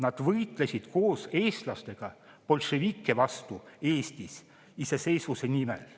Nad võitlesid koos eestlastega bolševike vastu Eesti iseseisvuse nimel.